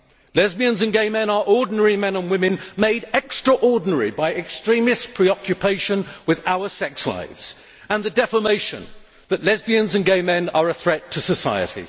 Lesbians and gay men are ordinary men and women made extraordinary by extremists' preoccupation with our sex lives and the defamation that lesbians and gay men are a threat to society.